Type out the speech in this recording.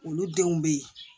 Olu denw be ye